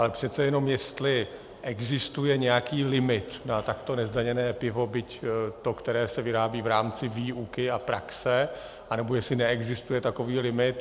Ale přece jenom jestli existuje nějaký limit na takto nezdaněné pivo, byť to, které se vyrábí v rámci výuky a praxe, anebo jestli neexistuje takový limit...